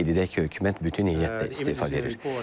Qeyd edək ki, hökumət bütün heyətdə istefa verir.